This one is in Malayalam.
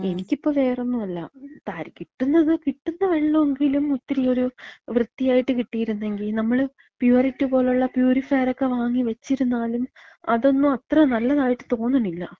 എനിക്കിപ്പം വേറൊന്നുല്ല, തര്, കിട്ടുന്നത്, കിട്ടുന്ന വെള്ളെങ്കിലും ഒരിത്തിരി വൃത്തിയായിട്ട് കിട്ടിയിരുന്നെങ്കി. നമ്മൾ പ്യൂരിറ്റ് പോലുള്ള പ്യൂരിഫയറൊക്കെ വാങ്ങി വച്ചിരുന്നാലും അതൊന്നും അത്ര നല്ലതായിട്ട് തോന്നണില്ല.